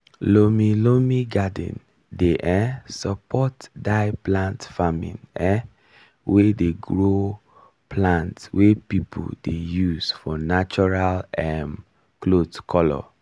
loamy loamy garden dey um support dye plant farming um wey dey grow plant wey people dey use for natural um cloth color.